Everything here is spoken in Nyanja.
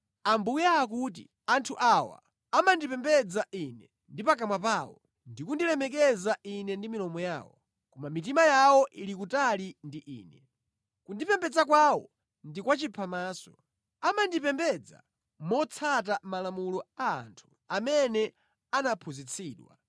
Ambuye akuti, “Anthu awa amandipembedza Ine ndi pakamwa pawo, ndi kundilemekeza Ine ndi milomo yawo, koma mitima yawo ili kutali ndi Ine. Kundipembedza kwawo ndi kwa chiphamaso. Amandipembedza motsata malamulo a anthu amene anaphunzitsidwa.